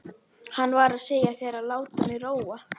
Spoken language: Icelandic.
Hann var að segja þér að láta mig róa.